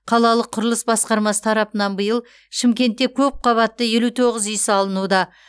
қалалық құрылыс басқармасы тарапынан биыл шымкентте көп қабатты елу тоғыз үй салынуда